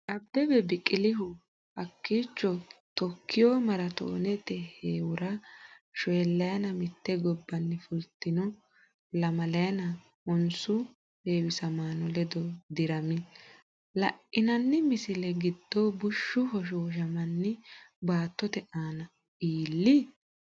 Abbebe Biqilihu hakkiicho Tookkiyo maaraatoonete heewora shoollayina mitte gobbanni fultino lamalayina honsu heewisamaano ledo dirami, La’inanni misilla giddo bushshu hoshooshamanni baattote aana iilli?